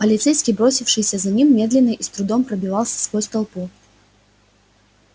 полицейский бросившийся за ним медленно и с трудом пробивался сквозь толпу